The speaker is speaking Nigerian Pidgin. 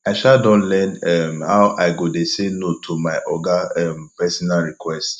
i um don learn um how i go dey sey no to my oga um personal request